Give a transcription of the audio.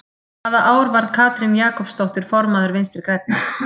Hvaða ár varð Katrín Jakobsdóttir formaður Vinstri-Grænna?